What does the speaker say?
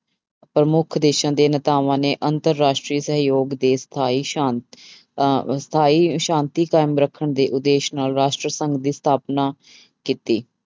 ਪ੍ਰਮੁੱਖ ਦੇਸਾਂ ਦੇ ਨੇਤਾਵਾਂ ਨੇ ਅੰਤਰ ਰਾਸ਼ਟਰੀ ਸਹਿਯੋਗ ਦੇ ਸਥਾਈ ਸ਼ਾਂਤ ਅਹ ਸਥਾਈ ਸ਼ਾਂਤੀ ਕਾਇਮ ਰੱਖਣ ਦੇ ਉਦੇਸ਼ ਨਾਲ ਰਾਸ਼ਟਰ ਸੰਘ ਦੀ ਸਥਾਪਨਾ ਕੀਤੀ।